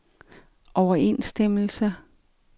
overensstemmelse